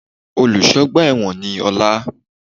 Olùsọ́ ọgbà èwọ̀n ni Ọlá